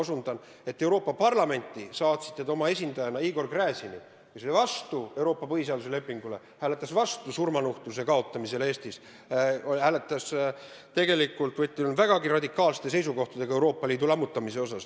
Te saatsite Euroopa Parlamenti oma esindajana Igor Gräzini, kes oli vastu Euroopa põhiseaduse lepingule, kes hääletas vastu surmanuhtluse kaotamisele Eestis, oli tegelikult vägagi radikaalsete seisukohtadega, kui jutt oli Euroopa Liidu lammutamisest.